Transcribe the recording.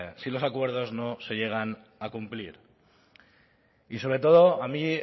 si los acuerdos no se llegan a cumplir y sobre todo a mí